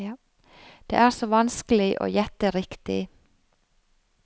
Det er så vanskelig å gjette riktig.